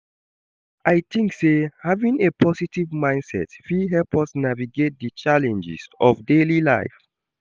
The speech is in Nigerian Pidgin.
I think say having a positive mindset fit help us navigate di challenges of daily life.